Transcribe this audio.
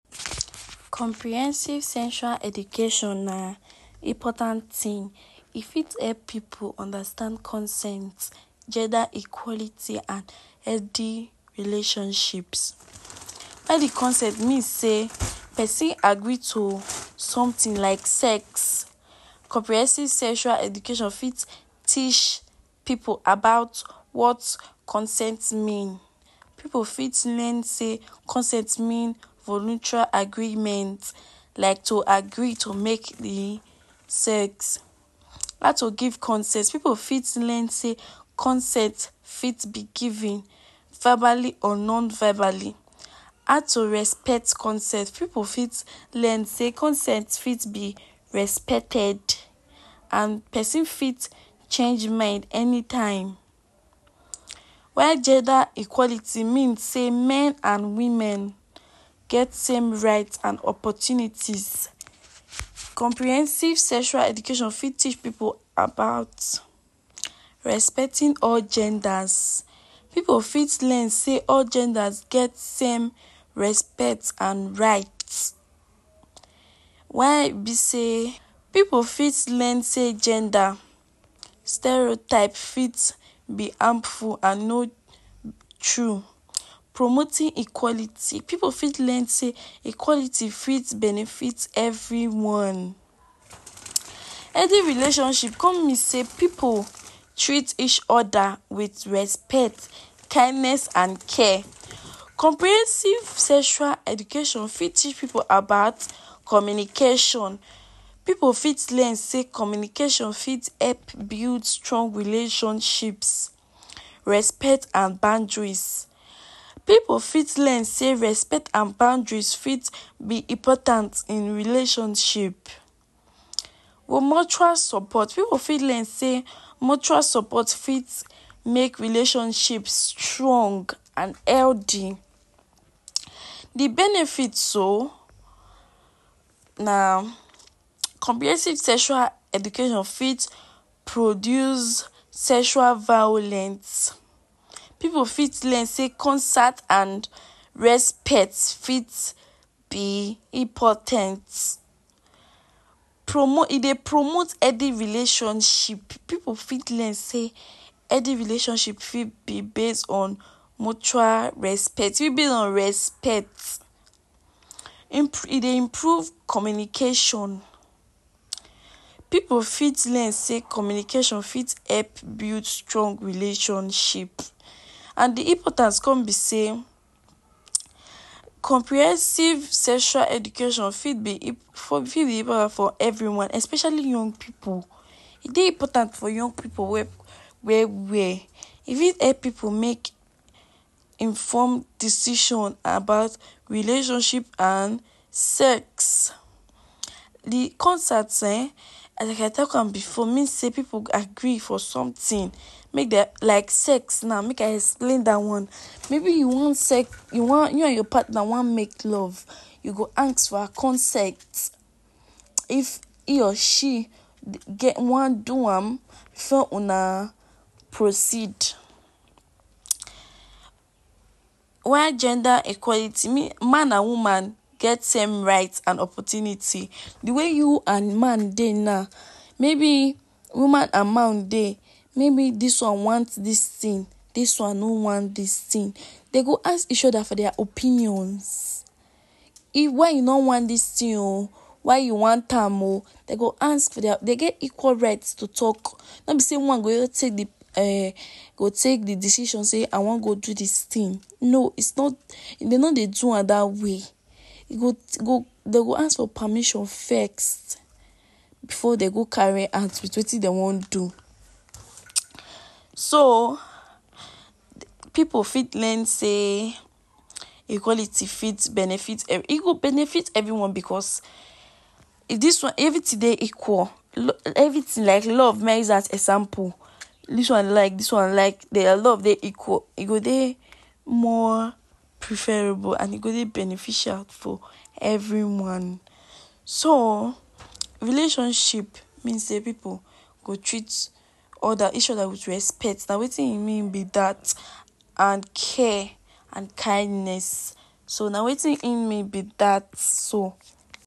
Comprehensive sexual education na important thing, e fit help pipu understand consent, gender equality and healthy relationships. All dis consent mean sey person agree to something like sex. Comprehensive sexual education fit teach pipu about wat consent mean. Pipu fit learn sey consent mean voluntary agreement. Like to agree to make de sex. How to give consent; pipu fit learn sey consent fit be given, verbally or non-verbally. How to respect consent; pipu fit learn sey consent fit be respected and person fit change mind anytime while gender equality mean sey men and women get same right and opportunities. Comprehensive sexual education fit teach pipu about respecting all genders. Pipu fit learn sey all genders get same respect and right. Why e be sey pipu fit learn sey gender, stereotype fit be harmful and no true. Promoting equality; pipu fit learn sey equality fit benefit everyone. Healthy relationship come mean sey pipu treat each other wit respect, kindness and care. Comprehensive sexual education fit teach pipu about communication. Pipu fit learn sey communication fit help build strong relationships. Respect and boundaries; pipu fit learn sey respect and boundaries fit be important in relationship. Mutual support; pipu fit learn sey mutual support fit make relationship strong and healthy. De benefit so na, comprehensive sexual education fit produce sexual violence. Pipu fit learn sey consent and respect fit be impo ten t. Promote, e dey promote healthy relationship. Pipu fit learn sey healthy relationship fit be base on mutual respect on respect. E dey improve communication. Pipu fit learn sey communication fit help build strong relationship. And de importance come be sey comprehensive sexual education fit be fit be part of everyone especially young pipu. E dey important for young pipu well well. E fit help pipu make, inform decision about relationship and sex. De consent um as I talk am before mean sey pipu agree for something. Make dem like sex now, make I explain dat one; maybe you wan sex, you wan, you and your partner wan make love, you go ask for her consent, if he or she wan do am before una proceed. While gender equality, man and woman get same right and opportunity. De way you and man dey now, maybe woman and man dey; maybe dis one want dis thing, dis one no want dis thing. Dey go ask each other for their opinions, e, “why you no want dis thing oo?”, “why you want am oo?”. Dey go ask for their, dey get equal right to talk. No be sey one go just take um, go take de decision say, “I wan go do dis thing”. No, its not, dey no dey do am dat way. E go, e go, dey go ask for permission first before dey go carry out wit wetin dey wan do. So pipu fit learn sey equality fit benefit, e go benefit everyone because dis one, everything dey equal. Everything like love, make I use as example. Dis one like, dis one like their love dey equal. E go dey more preferable and e go dey beneficial for everyone. So relationship mean sey pipu go treat other, each other wit respect, na wetin e mean be dat. And care and kindness. So na wetin im mean be dat so.